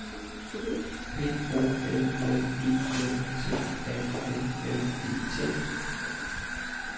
P O L L E N T A L L E T